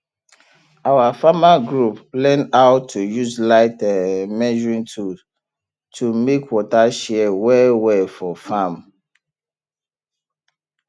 our farmer group learn how to use light um measuring tool to make water share well well for farm